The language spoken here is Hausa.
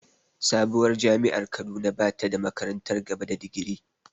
Sabuwar jami’ar Kaduna ba ta da makarantar gaba da digiri.